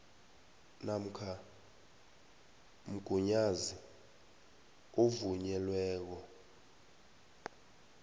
namkha mgunyazi ovunyelweko